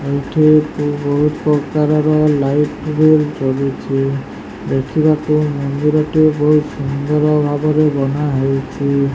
ଏଇଠି କି ବୋହୁତ୍ ପ୍ରକାରର ଲାଇଟ୍ ସବୁ ଜଳୁଛି। ଦେଖିବାକୁ ମନ୍ଦିର ଟି ବୋହୁତ୍ ସୁନ୍ଦର ଭାବରେ ଗଢ଼ାହୋଇଛି।